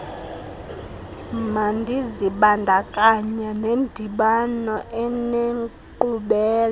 mandizibandakanye nendibano enenkqubela